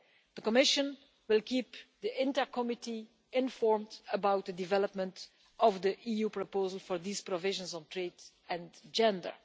The Commission will keep the INTA Committee informed about the development of the EU proposals for these provisions on trade and gender.